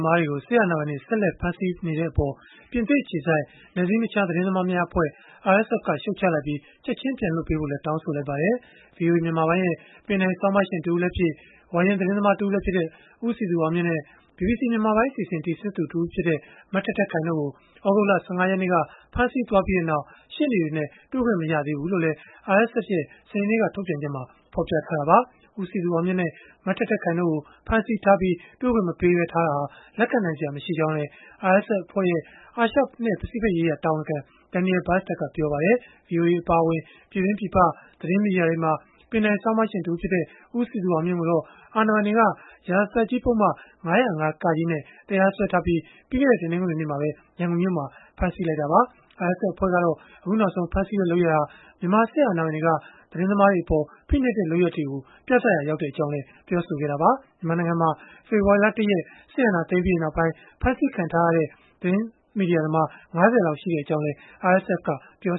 မားတွေကို စစ်အာဏာပိုင်တွေ ဆက်လက် ဖမ်းဆီးနေတဲ့အပေါ် ပြင်သစ်အခြေစိုက် နယ်စည်းမခြား သတင်းသမားများအဖွဲ့ (RSF) က ရှုတ်ချလိုက်ပြီး၊ ချက်ခြင်းပြန်လွှတ်ပေးဖို့လည်း တောင်းဆိုလိုက်ပါတယ်။ ပင်တိုင်ဆောင်းပါးရှင် တဦးလည်းဖြစ် ဝါရင့်သတင်းသမား တဦးလည်းဖြစ်သူ ဦးစည်သူအောင်မြင့်နဲ့ ဘီဘီစီ မြန်မာပိုင်း အစီအစဉ် တင်ဆက်သူ တဦးဖြစ်တဲ့ မထက်ထက်ခိုင် တို့ကို သြဂုတ်လ ၁၅ ရက်နေ့က ဖမ်းဆီးသွားပြီးနောက် ရှေ့နေတွေနဲ့ တွေ့ခွင့် မရသေးဘူးလို့လည်း RSF ရဲ့ စနေနေ့က ထုတ်ပြန်ချက်မှာ ဖော်ပြထားတာပါ။ ဦးစည်သူအောင်မြင့်နဲ့ မထက်ထက်ခိုင် တို့ကို ဖမ်းဆီးထားပြီး တွေ့ခွင့်မပေးပဲ ထားတာဟာ လက်ခံနိုင်စရာ မရှိကြောင်းလည်း RSF အဖွဲ့ရဲ့ အာရှ၊ ပစိဖိတ်ရေးရာ တာဝန်ခံ Daniel Bastard ကပြောပါတယ်။ ဗွီအိုအပါအဝင် ပြည်တွင်း၊ ပြည်ပ သတင်းမီဒီယာတွေမှာ ပင်တိုင်ဆောင်းပါးရှင် တဦးဖြစ်တဲ့ ဦးစည်သူအောင်မြင့်ကိုတော့ အာဏာပိုင်တွေက ရာဇသတ်ကြီးပုဒ်မ ၅၀၅-က နဲ့ တရားစွဲထားပြီး၊ ပြီးခဲ့တဲ့ တနင်္ဂနွေနေ့မှာပဲ ရန်ကုန်မြို့မှာ ဖမ်းဆီးခဲ့တာပါ။ RSF အဖွဲ့ကတော့ အခုနောက်ဆုံး ဖမ်းဆီးတဲ့ လုပ်ရပ်ဟာ မြန်မာစစ်အာဏာပိုင်တွေက သတင်းသမားတွေအပေါ် ဖိနှိပ်တဲ့ လုပ်ရပ်တွေကို ပြသရာရောက်ကြောင်းလည်း ပြောဆိုခဲ့တာပါ။ မြန်မာနိုင်ငံမှာ ဖေဖော်ဝါရီလ ၁ ရက် စစ်အာဏာသိမ်းပြီးနောက်ပိုင်း ဖမ်းဆီးခံထားရတဲ့ သတင်းမီဒီယာသမား ၅၀ လောက် ရှိကြောင်းလည်း RSF ကပြော